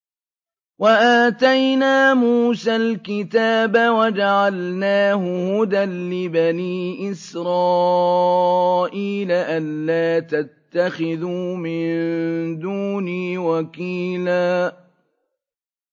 وَآتَيْنَا مُوسَى الْكِتَابَ وَجَعَلْنَاهُ هُدًى لِّبَنِي إِسْرَائِيلَ أَلَّا تَتَّخِذُوا مِن دُونِي وَكِيلًا